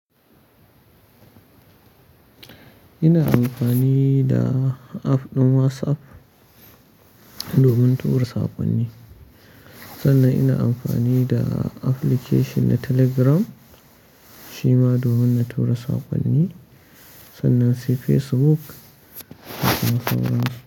Ina amfani da app ɗin WhatsApp domin tura saƙonni, sannan ina amfani da application na Telegram shi ma domin na tura saƙonni, sannan si Facebook mafi.